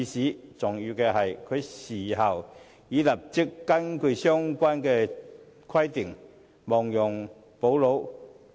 更重要的是，她事後已立即根據相關規定，亡羊補牢。